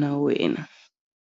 na wena.